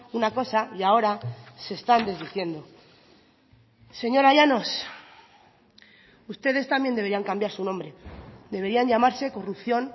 una cosa y ahora se están desdiciendo señora llanos ustedes también deberían cambiar su nombre deberían llamarse corrupción